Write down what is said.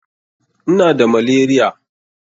Ina da malaria.